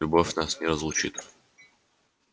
любовь нас не разлучит